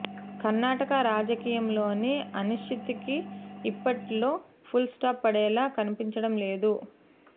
కర్ణాటక రాజకీయాల్లోని అనిశ్చితికి ఇప్పట్లో ఫుల్ స్టాప్ పడేలా కనిపించడం లేదు